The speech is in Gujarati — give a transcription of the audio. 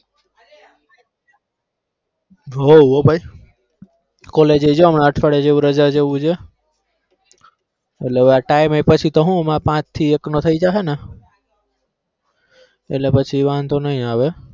હા હા હો ભાઈ college એ જો હમણાં અઠવાડિયા જેવું રજા જેવું છે. એટલે time એ પછી તો હુ પાંચ થી એક નો થઇ જાહે ને એટલે પછી વાંધો નઈ આવે.